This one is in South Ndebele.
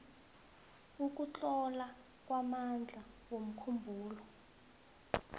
ukutlola kwamandla womkhumbulo